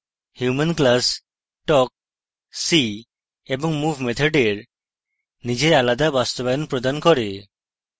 human class talk see এবং move মেথডের নিজের আলাদা বাস্তবায়ন প্রদান করে